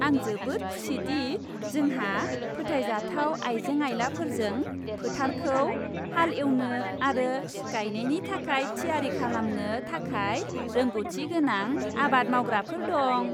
आं जोबोद खुसि दि जोंहा फोथायजाथाव आइजें आइलाफोरजों फोथारखौ हाल एवनो आरो गायनायनि थाखाय थियारि खालामनो थाखाय रोंग'थिगोनां आबाद मावग्राफोर दं।